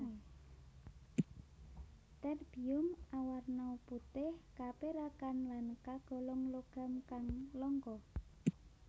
Terbium awarna putih kapérakan lan kagolong logam kang langka